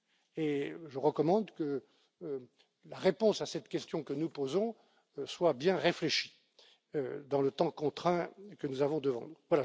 Et je recommande que la réponse à cette question que nous posons soit bien réfléchie dans le temps contraint que nous avons devant